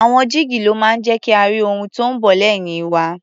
Àwọn jígí ló máa ń jẹ́ ka rí ohun tó ń bọ̀ lẹ́yìn wa.